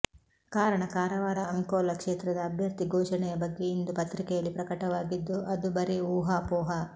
ಕಾರಣ ಕಾರವಾರ ಅಂಕೋಲಾ ಕ್ಷೇತ್ರದ ಅಭ್ಯರ್ಥಿ ಘೋಷಣೆಯ ಬಗ್ಗೆ ಇಂದು ಪತ್ರಿಕೆಯಲ್ಲಿ ಪ್ರಕಟವಾಗಿದ್ದು ಅದು ಬರೇ ಊಹಾಪೋಹ